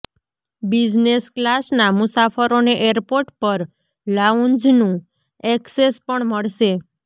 business ક્લાસના મુસાફરોને airport પર લાઉન્જનું એક્સેસ પણ મળશે